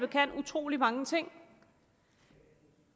kan utrolig mange ting